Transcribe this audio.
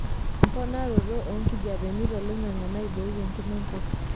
Emponaroto oonkijapeni toloing'ang'e naibooki enkima enkop.